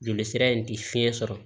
Joli sira in ti fiɲɛ sɔrɔ